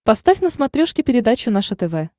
поставь на смотрешке передачу наше тв